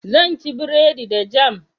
Zan ci buredi da jam